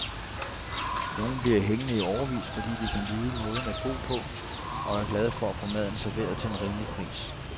Nogen bliver hængende i årevis, fordi de kan lide måden at bo på, og er glade for at få maden serveret til en rimelig pris.